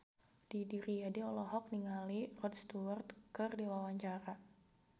Didi Riyadi olohok ningali Rod Stewart keur diwawancara